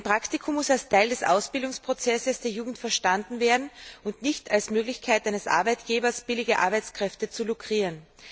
Ein Praktikum muss als Teil des Ausbildungsprozesses der Jugend verstanden werden und nicht als Möglichkeit eines Arbeitgebers, billige Arbeitskräfte zu lukrieren.